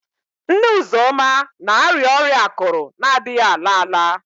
Nne Uzoma na-arịa ọrịa akụrụ na-adịghị ala ala